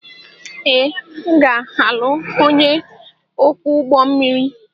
Ee, m ga-alụ onye ọkwọ ụgbọ mmiri.